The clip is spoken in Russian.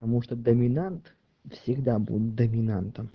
потому что доминант всегда будет доминантом